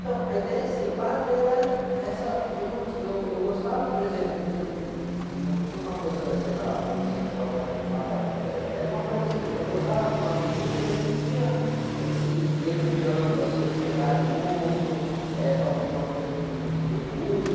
Então, a ideia de ser padre era essa... Eu num ti, eu, eu gostava, por exemplo, tinha, não tinha uma coisa, sei lá, homossexual, o cara falar, ah... Eh, era uma coisa assim, eu gostava de uma menina, mas não tinha esse meio de campo aí, de chegar junto, eh, talvez uma coisa de, de recusa.